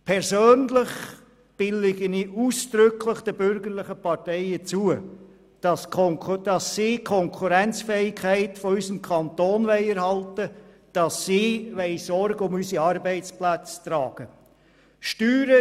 Persönlich billige ich ausdrücklich den bürgerlichen Parteien zu, dass sie die Konkurrenzfähigkeit unseres Kantons erhalten und Sorge zu unseren Arbeitsplätzen tragen wollen.